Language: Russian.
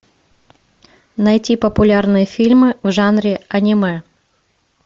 найти популярные фильмы в жанре аниме